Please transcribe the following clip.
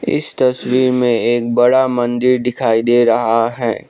इस तस्वीर में एक बड़ा मंदिर दिखाई दे रहा है।